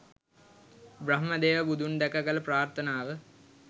බ්‍රහ්මදේව බුදුන් දැක කළ ප්‍රාර්ථනාව